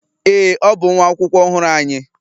Ee, ọ bụ nwa akwụkwọ ọhụrụ anyị.